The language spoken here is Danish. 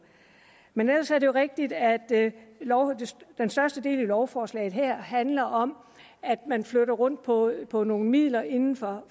men ellers er det jo rigtigt at den største del af lovforslaget her handler om at man flytter rundt på på nogle midler inden for